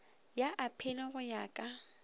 ya aphili go ya ka